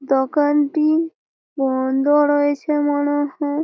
দোকানটি বন্ধ রয়েছে মনে হয়।